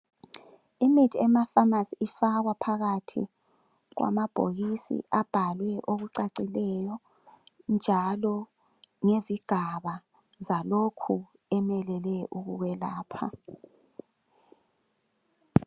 Imithi emafamasi ifakwa phakathi kwama bhokisi abhalwe okucacileyo njalo ngezigaba zalokho emelele uku kwelapha.